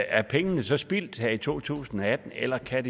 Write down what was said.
er pengene så spildt her i to tusind og atten eller kan